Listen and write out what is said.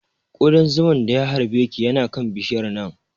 Ƙudan zuman da ya harbe ki yana kan bishiyar nan